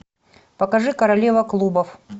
покажи королева клубов